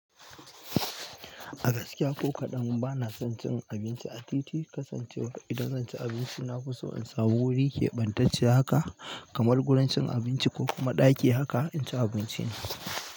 A gaskiya ko kaɗan bana son cin abinci a titi, kasancewar idan zan ci abinci na fi so in samu wuri keɓantacce haka kamar gurin cin abinci ko kuma ɗaki haka in ci abincin.